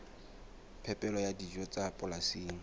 phepelo ya dijo tsa polasing